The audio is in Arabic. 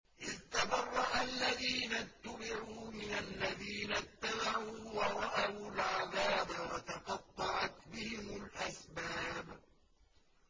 إِذْ تَبَرَّأَ الَّذِينَ اتُّبِعُوا مِنَ الَّذِينَ اتَّبَعُوا وَرَأَوُا الْعَذَابَ وَتَقَطَّعَتْ بِهِمُ الْأَسْبَابُ